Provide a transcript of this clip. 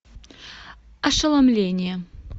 ошеломление